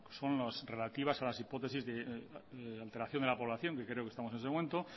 son las relativas a las hipótesis de alteración de la población que creo que estamos en ese momento